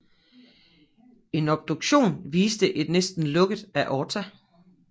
En obduktion viste et næsten helt lukket aorta